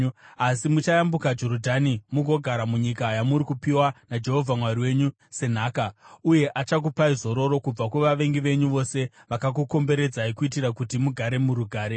Asi muchayambuka Jorodhani mugogara munyika yamuri kupiwa naJehovha Mwari wenyu senhaka, uye achakupai zororo kubva kuvavengi venyu vose vakakukomberedzai kuitira kuti mugare murugare.